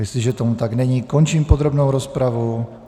Jestliže tomu tak není, končím podrobnou rozpravu.